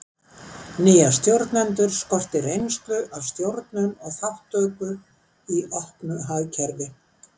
nýja stjórnendur skorti reynslu af stjórnun og þátttöku í opnu hagkerfi